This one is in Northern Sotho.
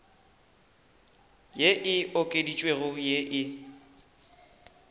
ye e okeditšwego ye e